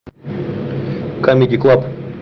камеди клаб